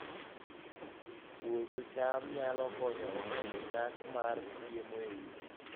Puodho cham nyalo konyo e medo nyak mar chiemo e udi